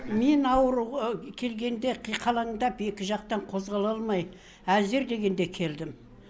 мен ауруға келгенде қиқалаңдап екі жақтан қозғала алмай әзер дегенде келдім